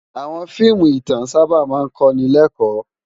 Àwòn fiimú itán sàbá mà n kó ni lèkò